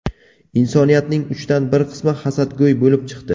Insoniyatning uchdan bir qismi hasadgo‘y bo‘lib chiqdi.